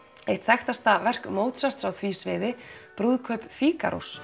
eitt þekktasta verk Mozart á því sviði brúðkaup